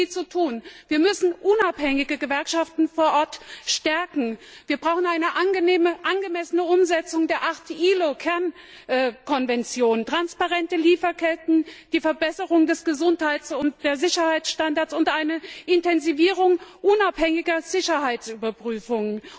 Es gibt viel zu tun! Wir müssen unabhängige Gewerkschaften vor Ort stärken, wir brauchen eine angemessene Umsetzung der acht ILO Kernkonventionen, transparente Lieferketten, die Verbesserung der Gesundheits und Sicherheitsstandards und eine Intensivierung unabhängiger Sicherheitsüberprüfungen.